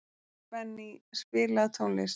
Benný, spilaðu tónlist.